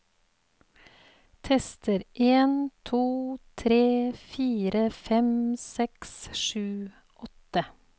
Tester en to tre fire fem seks sju åtte